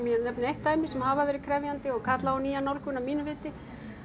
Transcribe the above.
ég nefni eitt dæmi sem hafa verið krefjandi og kalla á nýja nálgun að mínu viti